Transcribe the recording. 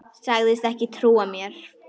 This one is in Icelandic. Sagðist ekki trúa mér.